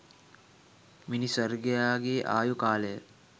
මිිනිස් වර්ගයාගේ ආයු කාලය